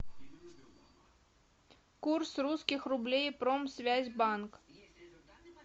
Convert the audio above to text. курс русских рублей промсвязьбанк